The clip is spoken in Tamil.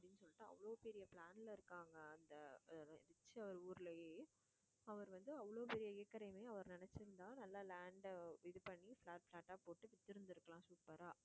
அப்படின்னு அவ்ளோ பெரிய plan ல இருக்காங்க அந்த ஊர்லயே அவர் வந்து அவ்வளோ பெரிய acre ஐயுமே அவர் நினைச்சிருந்தா நல்லா land அ இது பண்ணி flat flat ஆ போட்டு வித்துருந்துருக்கலாம் super ஆ